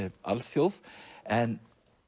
alþjóð en